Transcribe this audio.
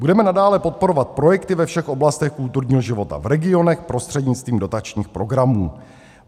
Budeme nadále podporovat projekty ve všech oblastech kulturního života v regionech prostřednictvím dotačních programů.